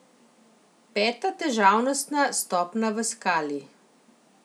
Peta težavnostna stopnja v skali.